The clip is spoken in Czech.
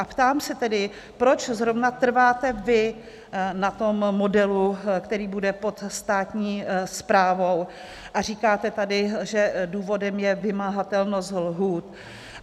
A ptám se tedy, proč zrovna trváte vy na tom modelu, který bude pod státní správou, a říkáte tady, že důvodem je vymahatelnost lhůt.